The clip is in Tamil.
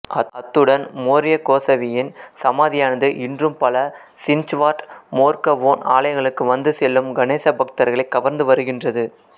அத்துடன் மோர்ய கோசவியின் சமாதியானது இன்றும் பல சின்ச்வார்ட் மோர்கவோன் ஆலயங்களுக்கு வந்து செல்லும் கணேச பக்தர்களைக் கவர்ந்து வருகின்றது